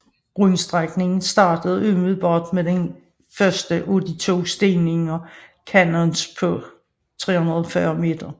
Rundstrækningen startede umiddelbart med den første af de to stigninger Canoas på 340 meter